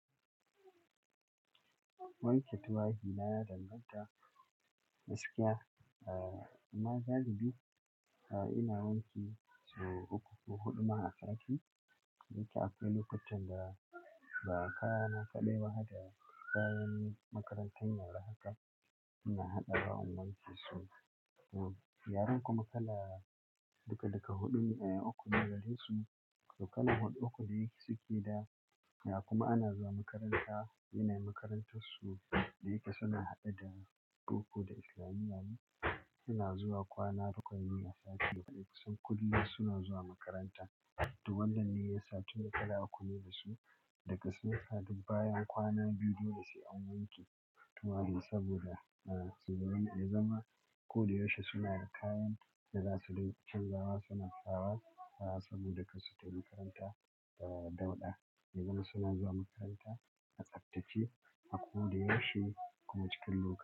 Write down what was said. Wanke tufafi na ya danganta da gaskiya. Amma galibi ina wanke sau uku ko huɗu a sati. Wanke akwai lokutan da kaya na kaɗai bahar da kayan makarantar ya ra haka ina haɗawa an wanke su. Yaran kuma kala duka duka huɗun uku ne gare su ko kana uku da yake suke da kuma ana zuwa makaranta. Ina makarantar su da yake suna haɗe da boko da islamiya suna zuwa kwana bakwai a sati. Duk kusan kullum suna zuwa makaranta. To wannan ne ya sa tun kala uku ne dasu daga sun haɗu bayan kwana biyu dole sai an wanke tufafi saboda a zama koyaushe suna da kayan da za su rinka canzawa suna sawa saboda karsu tafi makarantada dauɗa. Ya zama suna zuwa makaranta a tsaftace a koyaushe kuma cikin lura.